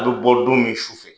A bɛ bɔ don min sufɛ,